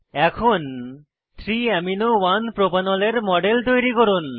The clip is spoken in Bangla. এখন 3 amino 1 প্রোপানল এর মডেল তৈরি করুন